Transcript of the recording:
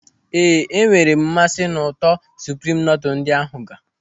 Éè, enwere m mmasị n'ụtọ supreme noodle ndị ahụ ga.